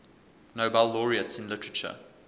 nobel laureates in literature